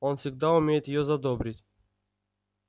он всегда умеет её задобрить